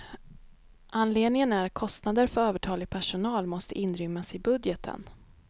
Anledningen är att kostnader för övertalig personal måste inrymmas i budgeten.